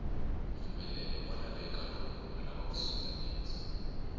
mpfumelelo wa lavekaloko munhu alava ku sungula bindzu